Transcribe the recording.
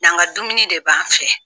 N'an ka dumuni de b'an fɛ!